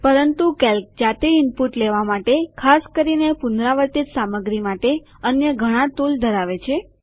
પરંતુ કેલ્સી જાતે ઈનપુટ લેવા માટે ખાસ કરીને પુનરાવર્તિત સામગ્રી માટે અન્ય ઘણા ટુલ ધરાવે છે